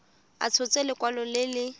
a tshotse lekwalo le le